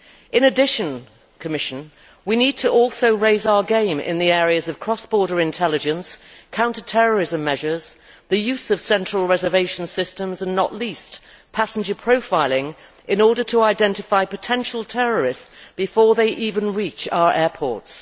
In addition, Commissioner, we need to raise our game in the areas of cross border intelligence, counter terrorism measures, the use of central reservation systems and, not least, passenger profiling in order to identify potential terrorists before they even reach our airports.